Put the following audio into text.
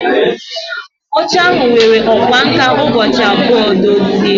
Oche ahụ were ọkwá nkà ụbọchị abụọ dozie.